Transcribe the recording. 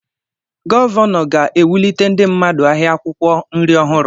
Gọvanọ ga-ewulite ndị mmadụ ahịa akwụkwọ nri ọhụrụ.